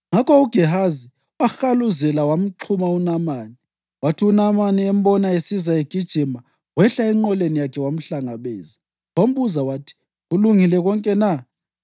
Ngakho uGehazi wahaluzela wamxhuma uNamani. Kwathi uNamani embona esiza egijima, wehla enqoleni yakhe wamhlangabeza, wambuza wathi, “Kulungile konke na?”